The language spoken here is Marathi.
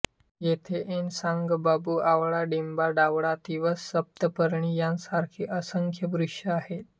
येथे ऐन साग बांबू आवळा बिब्बा धावडा तिवस सप्तपर्णी यांसारखे असंख्य वृक्ष आहेत